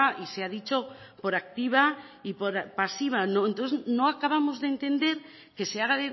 y se ha dicho por activa y por pasiva entonces no acabamos de entender que se haga